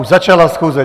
Už začala schůze.